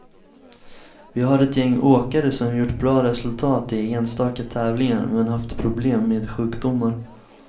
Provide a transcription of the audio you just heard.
Vi har ett gäng åkare som gjort bra resultat i enstaka tävlingar, men haft problem med sjukdomar.